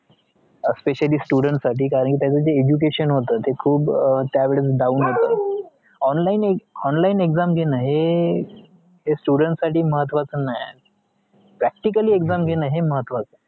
specially students साठी कारण ते त्यांचा education होता तेय खुप त्या वेळेस down होत online online exams घेणं students साठी महत्वाचे नाही practical exam हे महत्वाचे